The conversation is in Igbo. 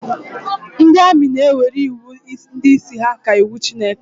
Ndị amị na-ewere iwu ndị isi ha ka iwu Chineke